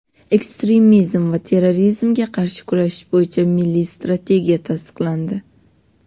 Ekstremizm va terrorizmga qarshi kurashish bo‘yicha Milliy strategiya tasdiqlandi.